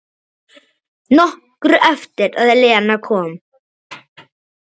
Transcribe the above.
Nokkru eftir að Lena kom.